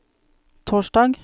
torsdag